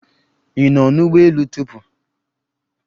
Ị nọ n'ụgbọ elu tupu?